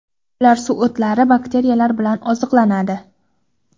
Ular suv o‘tlari, bakteriyalar bilan oziqlanadi.